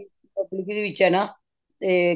ਵਿੱਚ ਏ ਨਾ ਤੇ